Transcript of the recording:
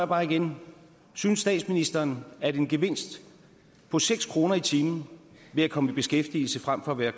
bare igen synes statsministeren at en gevinst på seks kroner i timen ved at komme i beskæftigelse frem for at være